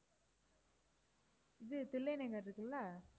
இது தில்லை நகர் இருக்குல்ல